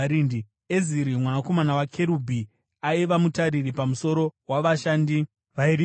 Eziri mwanakomana waKerubhi aiva mutariri pamusoro wavashandi vairima minda.